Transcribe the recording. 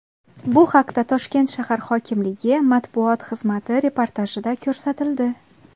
Bu haqda Toshkent shahar hokimligi matbuot xizmati reportajida ko‘rsatildi .